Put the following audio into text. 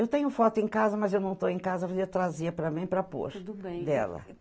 Eu tenho foto em casa, mas eu não estou em casa, ela ia trazer para mim e para pôr, tudo bem, dela.